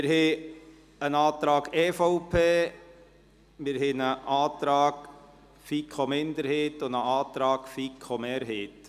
Wir haben einen Antrag EVP, einen Antrag FiKo-Minderheit und einen Antrag FiKoMehrheit.